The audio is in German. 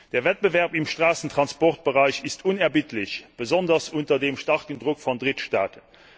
Der Wettbewerb im Straßentransportbereich ist unerbittlich, besonders unter dem starken Druck von Drittstaaten.